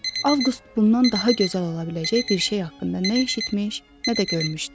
Avqust bundan daha gözəl ola biləcək bir şey haqqında nə eşitmiş, nə də görmüşdü.